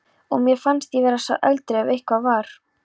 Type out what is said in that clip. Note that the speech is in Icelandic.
Og mér fannst ég vera sá eldri ef eitthvað var.